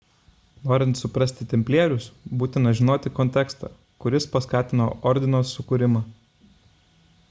norint suprasti templierius būtina žinoti kontekstą kuris paskatino ordino sukūrimą